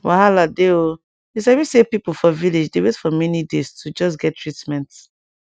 wahala dey o you sabi say pipo for village dey wait for many days to just get treatment